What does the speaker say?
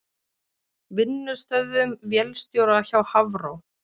Vinnustöðvun vélstjóra hjá Hafró